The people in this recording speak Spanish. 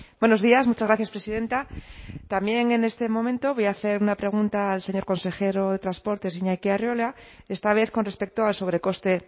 buenos días muchas gracias presidenta también en este momento voy a hacer una pregunta al señor consejero de transportes iñaki arriola esta vez con respecto al sobrecoste